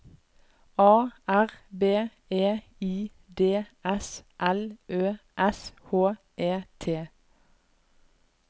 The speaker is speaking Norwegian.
A R B E I D S L Ø S H E T